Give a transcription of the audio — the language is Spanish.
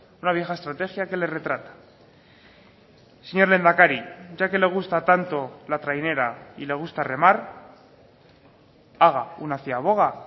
una vieja estrategia que le retrata señor lehendakari ya que le gusta tanto la trainera y le gusta remar haga una ciaboga